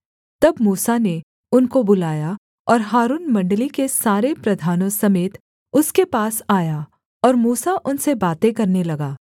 तब मूसा ने उनको बुलाया और हारून मण्डली के सारे प्रधानों समेत उसके पास आया और मूसा उनसे बातें करने लगा